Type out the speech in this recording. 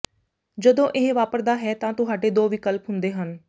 ਜਦੋਂ ਇਹ ਵਾਪਰਦਾ ਹੈ ਤਾਂ ਤੁਹਾਡੇ ਦੋ ਵਿਕਲਪ ਹੁੰਦੇ ਹਨ